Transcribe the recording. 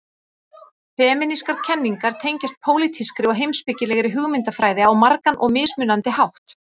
Femínískar kenningar tengjast pólitískri og heimspekilegri hugmyndafræði á margan og mismunandi hátt.